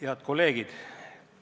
Head kolleegid!